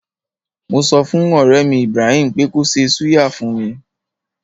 Mo sọfùn ọ̀rẹ́mi Ibraheem pé kó ṣe súyà fún mi.